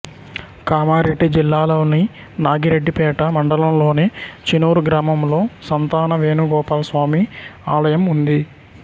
కామారెడ్డి జిల్లాలోని నాగిరెడ్డిపెట మండలంలోని చినూర్ గ్రామంలో సంతాన వేణుగోపాల్ స్వామి ఆలయం ఉంది